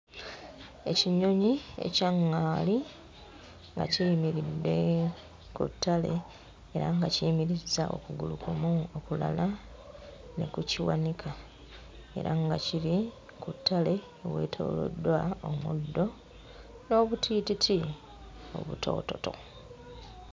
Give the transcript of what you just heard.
Ekinyonyi ekya ŋŋaali nga kiyimiridde ku ttale era nga kiyimirizza okugulu kumu, okulala ne kukiwanika era nga kiri ku ttale eweetooloddwa omuddo n'obutiititi obutoototo.